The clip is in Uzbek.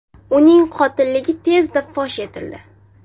Uning qotilligi tezda fosh etildi.